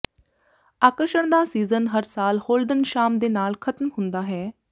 ਆਕਰਸ਼ਣ ਦਾ ਸੀਜ਼ਨ ਹਰ ਸਾਲ ਹੋਲਡਨ ਸ਼ਾਮ ਦੇ ਨਾਲ ਖਤਮ ਹੁੰਦਾ ਹੈ